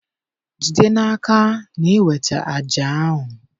Jide n'aka na ị weta àjà ahụ